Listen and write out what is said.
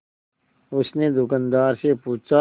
उसने दुकानदार से पूछा